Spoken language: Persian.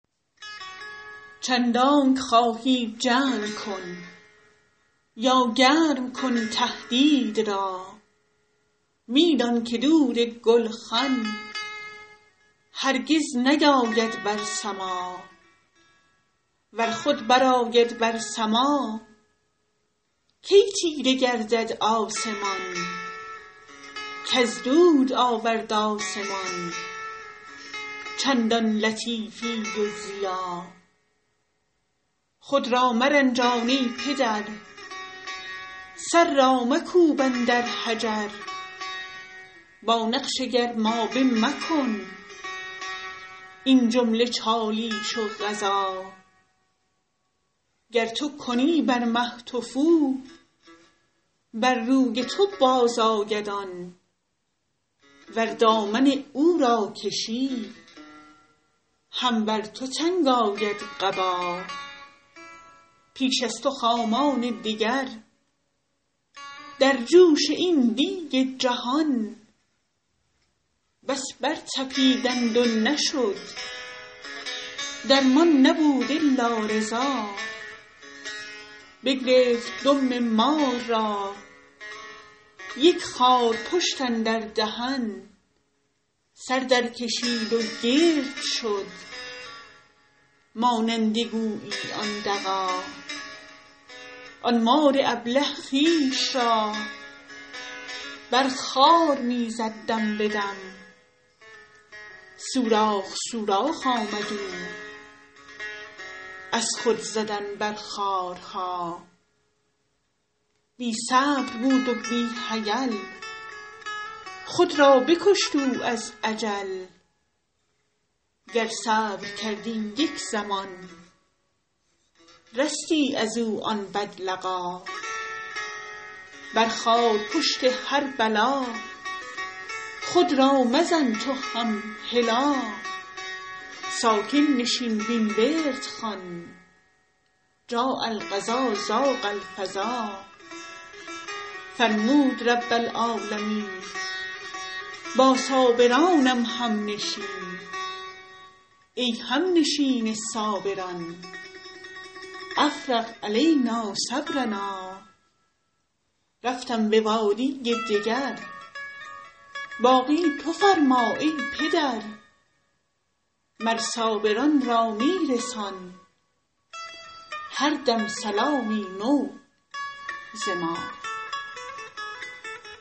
چندانکه خواهی جنگ کن یا گرم کن تهدید را می دان که دود گولخن هرگز نیاید بر سما ور خود برآید بر سما کی تیره گردد آسمان کز دود آورد آسمان چندان لطیفی و ضیا خود را مرنجان ای پدر سر را مکوب اندر حجر با نقش گرمابه مکن این جمله چالیش و غزا گر تو کنی بر مه تفو بر روی تو بازآید آن ور دامن او را کشی هم بر تو تنگ آید قبا پیش از تو خامان دگر در جوش این دیگ جهان بس برطپیدند و نشد درمان نبود الا رضا بگرفت دم مار را یک خارپشت اندر دهن سر درکشید و گرد شد مانند گویی آن دغا آن مار ابله خویش را بر خار می زد دم به دم سوراخ سوراخ آمد او از خود زدن بر خارها بی صبر بود و بی حیل خود را بکشت او از عجل گر صبر کردی یک زمان رستی از او آن بدلقا بر خارپشت هر بلا خود را مزن تو هم هلا ساکن نشین وین ورد خوان جاء القضا ضاق الفضا فرمود رب العالمین با صابرانم همنشین ای همنشین صابران افرغ علینا صبرنا رفتم به وادی دگر باقی تو فرما ای پدر مر صابران را می رسان هر دم سلامی نو ز ما